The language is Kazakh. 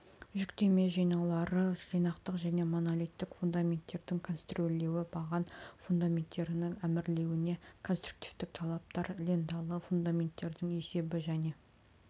жүктеме жинаулары жинақтық және монолиттік фундаменттердің конструирлеуі баған фундаменттерінің армирлеуіне конструктивтік талаптар ленталы фундаменттердің есебі және